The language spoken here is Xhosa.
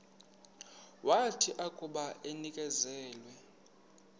wathi akuba enikezelwe